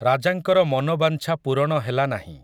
ରାଜାଙ୍କର ମନୋବାଂଛା ପୂରଣ ହେଲା ନାହିଁ ।